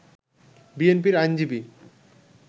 বিএনপির আইনজীবী